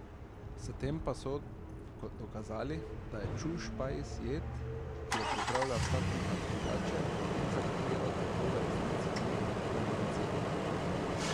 S tem pa so dokazali, da je čušpajs jed, ki jo pripravlja vsak kuhar drugače in za katero tako v resnici ni enotnega recepta.